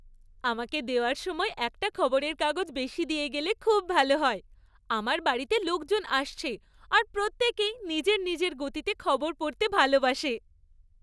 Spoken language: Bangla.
আমাকে দেওয়ার সময় একটা খবরের কাগজ বেশি দিয়ে গেলে খুব ভালো হয়! আমার বাড়িতে লোকজন আসছে আর প্রত্যেকেই নিজের নিজের গতিতে খবর পড়তে ভালোবাসে।